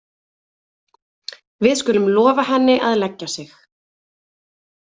Við skulum lofa henni að leggja sig.